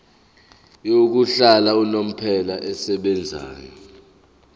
yokuhlala unomphela esebenzayo